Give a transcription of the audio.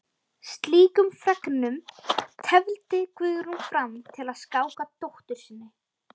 Slíkum fregnum tefldi Guðrún fram til að skáka dóttur sinni.